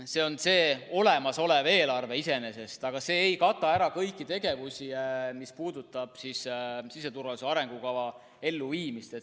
See on see olemasolev eelarve iseenesest, aga see ei kata ära kõiki tegevusi, mis puudutavad siseturvalisuse arengukava elluviimist.